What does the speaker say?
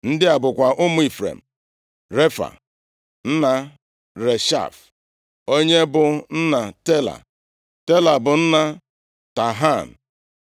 Ndị a bụkwa ụmụ Ifrem: Refa, nna Reshef, onye bụ nna Tela. Tela bụ nna Tahan,